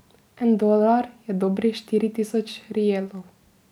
En dolar je dobri štiri tisoč rielov.